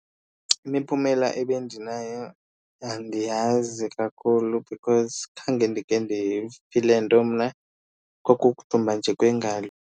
Imiphumela ebendinayo andiyazi kakhulu because khange ndike ndifile nto mna, kwakukudumba nje kwengalo.